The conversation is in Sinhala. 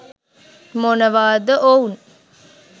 මොනවාද ඔවුන්